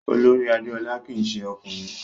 Olorì Adéọlá kìí se ọkùnrin